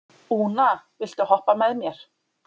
Úna, viltu hoppa með mér?